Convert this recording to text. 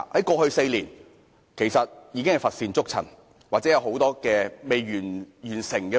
過去4年根本乏善足陳，或仍有很多尚未完成的工作。